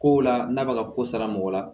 Kow la n'a bɛ ka ko sara mɔgɔ la